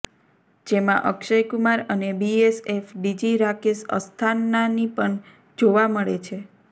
જેમાં અક્ષય કુમાર અને BSF DG Rakesh અસ્થાનાની પણ જોવા મળે છે